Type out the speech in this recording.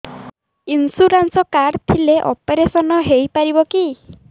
insurance card ଥିଲେ operation ହେଇପାରିବ କି